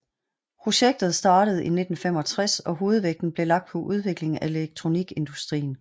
Projektet startede i 1965 og hovedvægten blev lagt på udvikling af elektronikindustrien